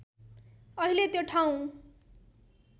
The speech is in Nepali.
अहिले त्यो ठाउँ